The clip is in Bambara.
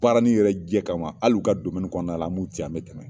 Baara ni yɛrɛ jɛ kama ma ali u ka domɛni kɔnɔna la an b'u ci an bɛ tɛmɛ ye